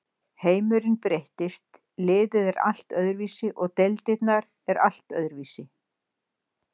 Heimurinn breytist, liðið er allt öðruvísi og deildirnar er allt öðruvísi.